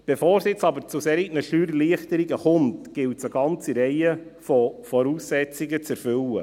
Bevor es jetzt aber zu solchen Steuererleichterungen kommt, gilt es eine ganze Reihe von Voraussetzungen zu erfüllen.